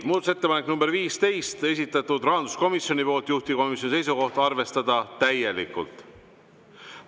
Muudatusettepanek nr 15, esitanud rahanduskomisjon, juhtivkomisjoni seisukoht: arvestada täielikult.